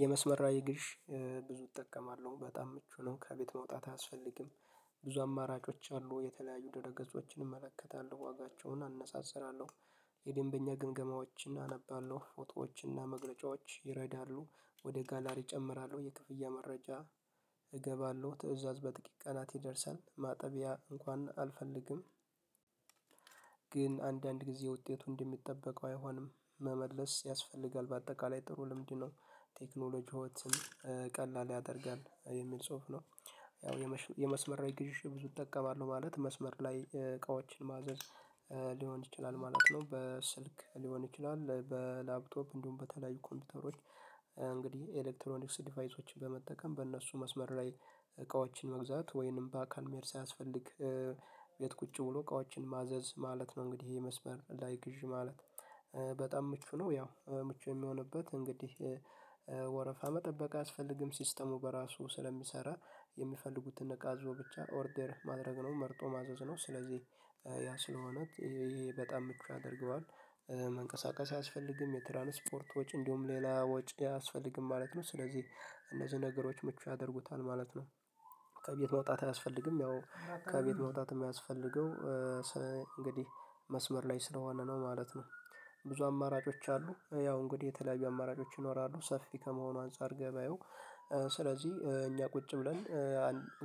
የመስመር ላይ ግዥ ብዙ እጠቀማለሁ በጣም ምቹ ነው ከቤት መውጣት አያስፈልግም። ብዙ አማራጮች አሉ የተለያዩ ድረገጾችን እመለከታለሁ ዋጋቸውን አነጻጽራለሁ። የደንበኛ ግምገማዎችን አነባለሁ ፎቶዎችን እና መግለጫዎች ይረዳሉ ወደ ጋላሪ እጨምራለሁ የክፍያ መረጃ እገባለሁ ትእዛዝ በጥቂት ቀናት ይደርሳል ማጠቢያ እንኳን አልፈልግም። ግን አንዳንድ ጊዜ ውጤቱ እንደሚጠበቀው አይሆንም መመለስ ያስፈልጋል በአጠቃላይ ጥሩ ልምድ ነው። ቴክኖሎጂ ህይወትን ቀላል ያደርጋል የሚል ጽሁፍ ነው። ያው የመስመር ላይ ግዥ ብዙ እጠቀማለሁ ማለት መስመር ላይ እቃዎችን ማዘዝ ሊሆን ይችላል ማለት ነው። በስልክ ሊሆን ይችላል በላፕቶፕ እንዲሁም በተለያዩ ኮምፒውተሮች እንግዲህ ኤሌክትሮኒክስ ዲቫይሶችን በመጠቀም በእነሱ መስመር ላይ እቃዎችን መግዛት ወይንም በአካል መሄድ ሳያስፈልግ ቁጭ ብሎ እቃዎችን ማዘዝ ማለት ነው። እንግዲህ ይሄ መስበር ላይክ ይዤ ማለት በጣም ምቹ ነው። ያው ምቹ የሚሆንበት እንግዲህ ወረፋም መጠበቅ አያስፈልግም። ሲስተሙ በራሱ ስለሚሰራ የሚፈልጉትን እቃ አዝዞ ብቻ ኦርደር ማድረግ ነው መርጦ ማዘዝ ነው። ስለዚህ ያ ስለሆነ ይሄ በጣም ምቹ ያደርገዋል። መንቀሳቀስ አያስፈልግም የትራንስፖርት ወጭ እንዲሁም ሌላ ወጪ አያስፈልግም ማለት ነው። ስለዚህ እነዚህ ነገሮች ምቹ ያደርጉታል ማለት ነው። ከቤት መውጣት አያስፈልግም ያው ከቤት መውጣት የማያስፈልገው እንግዲህ መስመር ላይ ስለሆነ ነው ማለት ነው። ብዙ አማራጮች አሉ ያው እንግዲህ የተለያዩ አማራጮች ይኖራሉ ሰፊ ከመሆኑ አንፃር ገበያው ስለዚህ እኛ ቁጭ ብለን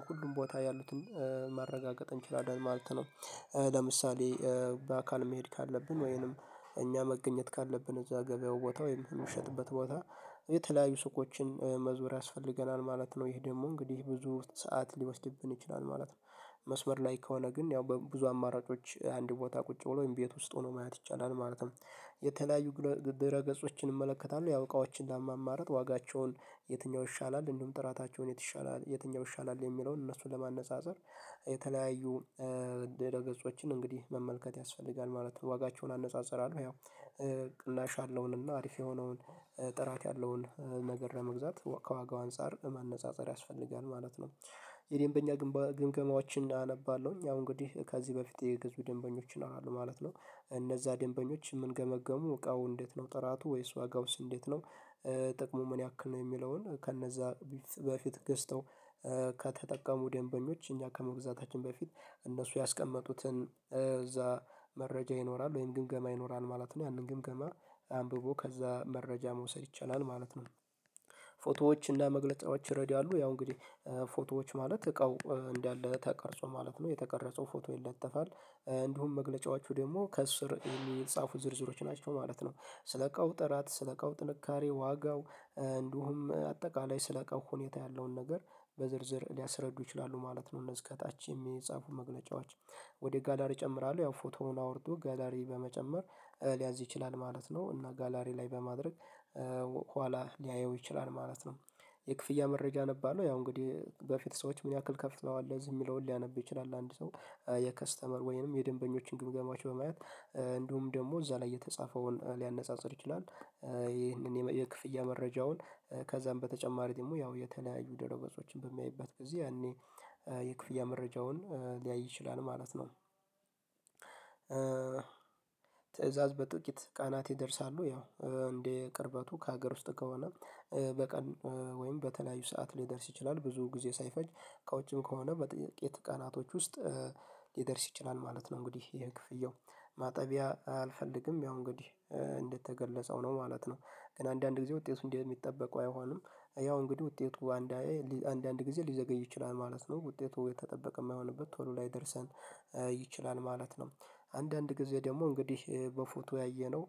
ሁሉም ቦታ ያሉትን ማረጋገጥ እንችላለን ማለት ነው። ለምሳሌ በአካል መሄድ ካለብን ወይንም እኛ መገኘት ካለብን እዛ ገበያው ቦታ ወይም የሚሸጥበት ቦታ የተለያዩ ሱቆችን መዞር ያስፈልገናል ማለት ነው ይሄ ደግሞ እንግዲህ ብዙ ሰዓት ሊወስድብን ይችላል ማለት ነው። መስመር ላይ ከሆነ ግን ያው በብዙ አማራጮች አንድ ቦታ ቁጭ ብሎ ወይም ቤት ውስጥ ሆኖ ማየት ይቻላል። ማለትም የተለያዩ ድረ ገጾችን እመለከታለሁ ያው እቃዎችን ለማማረጥ ዋጋቸውን የትኛው ይሻላል እንዲሁም ጥራታቸውን የቱ ይሻላል የትኛው ይሻላል የሚለውን እነሱ ለማነፃፀር የተለያዩ ድረገጾችን እንግዲህ መመልከት ያስፈልጋል ማለት ነው። ዋጋቸውን አነጻጽራለሁ ያው ቅናሽ ያለውን እና አሪፍ የሆነውን ጥራት ያለውን ነገር ለመግዛት ከዋጋው አንፃር ማነፃፀር ያስፈልጋል ማለት ነው። የዴምበኛ ግንባር ግምገማዎችን አነባለሁኝ አሁን እንግዲህ ከዚህ በፊት የገዙ ደንበኞችን አሏል ማለት ነው እነዛ ደንበኞች የምንገመግሙ እቃው እንዴት ነው ጥራቱ ወይስ ዋጋውስ እንዴት ነው? ጥቅሙ ምን ያክል ነው የሚለውን ከነዛ በፊት ገዝተው ከተጠቀሙ ደንበኞች እኛ ከመግዛታችን በፊት እነሱ ያስቀመጡትን እዛ መረጃ ይኖራል ወይም ግምገማ ይኖራል ማለት ነው ያንን ግምገማ አንብቦ ከዛ መረጃ መውሰድ ይቻላል ማለት ነው። ፎቶዎች እና መግለጫዎች ይረዳሉ ያው እንግዲህ ፎቶዎች ማለት እቃው እንዳለ ተቀርጾ ማለት ነው የተቀረጸው ፎቶ ይለጠፋል። እንዲሁም መግለጫዎቹ ደግሞ ከእሱ ስር የሚጻፉት ዝርዝሮች ናቸው ማለት ነው። ስለ እቃው ጥራት ስለ እቃው ጥንካሬ ዋጋው እንዲሁም አጠቃላይ ስለእቃው ሁኔታ ያለውን ነገር በዝርዝር ሊያስረዱ ይችላሉ ማለት ነው። እነዚህ ከታች የሚጻፉ መግለጫዋች ወደ ጋላር እጨምራለሁ ያው ፎቶውን አውርዶ ጋላሪ በመጨመር ሊያዝ ይችላል ማለት ነው። እና ጋላሪ ላይ በማድረግ ኋላ ሊያየው ይችላል ማለት ነው። የክፍያ መረጃ አነባለሁ ያው እንግዲህ በፊት ሰዎች ምን ያክል ከፍተዋል እዚህ የሚለውን ሊያነብ ይችላል አንድ ሰው የከስተመር ወይንም የደንበኞችን ግምገማዎች በማየት እንዲሁም ደግሞ እዛ ላይ የተጻፈውን ሊያነጻጽር ይችላል። ይህንን የክፍያ መረጃውን ከዛም በተጨማሪ ደግሞ ያው የተለያዩ ደረገጾችን በሚያይበት ጊዜ ያኔ የክፍያ መረጃውን ሊያይ ይችላል ማለት ነው። ትእዛዝ በጥቂት ቀናት ይደርሳሉ ያው እንደ ቅርበቱ ከሀገር ውስጥ ከሆነ በቀን ወይም በተለያዩ ሰዓት ሊደርስ ይችላል ብዙ ጊዜ ሳይፈጅ ከውጭም ከሆነ በጥቂት ቀናቶች ውስጥ ሊደርስ ይችላል ማለት ነው። እንግዲህ ይሄ ክፍያው ማጠቢያ አልፈልግም ያው እንግዲህ እንደተገለጸው ነው ማለት ነው። ግን አንዳንድ ጊዜ ውጤቱ እንዴት እንደሚጠበቁ አይሆኑም ያው እንግዲህ ውጤቱ አንዳንዴ አንዳንድ ጊዜ ሊዘገይ ይችላል ማለት ነው ውጤቱ የተጠበቀ የማይሆንበት ቶሎ ላይ ደርሰን ይችላል ማለት ነው። አንዳንድ ጊዜ ደግሞ እንግዲህ በፎቶ ያየነው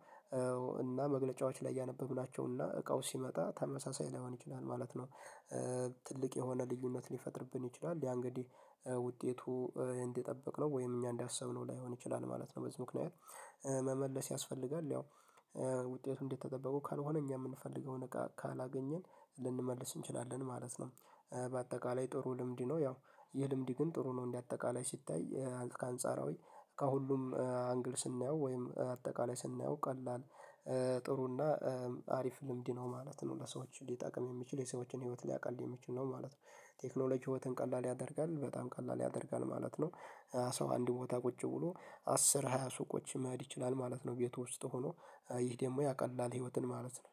እና መግለጫዎች ላይ ያነበብናቸው እና እቃው ሲመጣ ተመሳሳይ ሊያወን ይችላል ማለት ነው። ትልቅ የሆነ ልዩነት ሊፈጥርብን ይችላል ያ እንግዲህ ውጤቱ እንደጠበቅነው ወይም እኛ እንዳሰብነው ላይሆን ይችላል ማለት ነው። በዚህ ምክንያት መመለስ ያስፈልጋል ያው ውጤቱ እንደተጠበቀው ካልሆነ እኛ የምንፈልገውን እቃ ካላገኘን ልንመልስ እንችላለን ማለት ነው። በአጠቃላይ ጥሩ ልምድ ነው ያው የልምድ ግን ጥሩ ነው እንደ አጠቃላይ ሲታይ አንጻራዊ ከሁሉም አንግል ስናየው ወይም አጠቃላይ ስናየው ቀላል ጥሩና አሪፍ ልምድ ነው ማለት ነው ለሰዎች ሊጠቅም የሚችል የሰዎችን ህይወት ሊያቃልል የሚችል ነው ማለት ነው። ቴክኖሎጂ ህይወትን ቀላል ያደርጋል በጣም ቀላል ያደርጋል ማለት ነው። ሰው አንድ ቦታ ቁጭ ብሎ አስር ሃያ ሱቆችን መሄድ ይችላል ማለት ነው ቤቱ ውስጥ ሆኖ ይህ ደግሞ ያቀላል ህይወትን ማለት ነው።